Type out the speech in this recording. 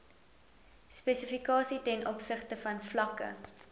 spesifikasies tov vlakke